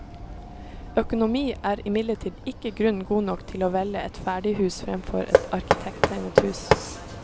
Økonomi er imidlertid ikke grunn god nok til å velge et ferdighus fremfor et arkitekttegnet hus.